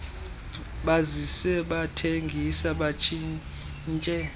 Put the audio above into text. bazise bathengise batshintshe